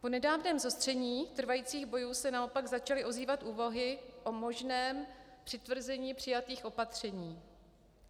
Po nedávném zostření trvajících bojů se naopak začaly ozývat úvahy o možném přitvrzení přijatých opatření.